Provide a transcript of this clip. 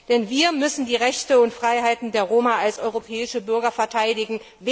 Denn wir müssen die Rechte und Freiheiten der Roma als europäische Bürger verteidigen!